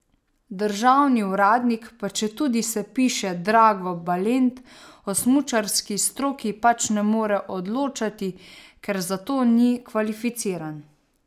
Državni uradnik, pa četudi se piše Drago Balent, o smučarski stroki pač ne more odločati, ker za to ni kvalificiran.